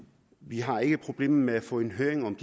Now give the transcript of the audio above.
vi har ikke et problem med at få en høring om